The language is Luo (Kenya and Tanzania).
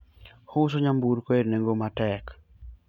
ouso nyamburko e nengo matek